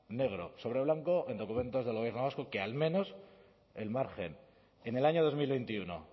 negro sobre blanco en documentos del gobierno vasco que al menos el margen en el año dos mil veintiuno